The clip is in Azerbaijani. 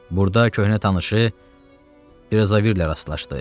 Burda köhnə tanışı Brizaverlə rastlaşdı.